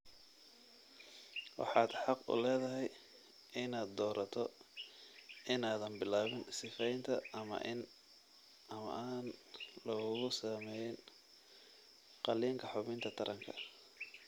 Waxaad xaq u leedahay inaad doorato inaadan bilaabin sifaynta ama aan lagugu samayn qaliinka xubinta taranka.